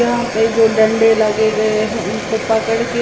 यहां पे जो डंडे लगे गए हैं उनको पकड़ के--